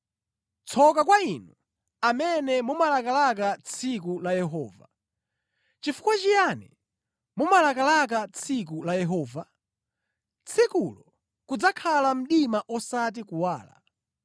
Tsoka kwa inu amene mumalakalaka tsiku la Yehova! Chifukwa chiyani mumalakalaka tsiku la Yehova? Tsikulo kudzakhala mdima osati kuwala.